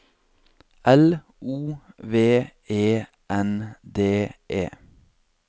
L O V E N D E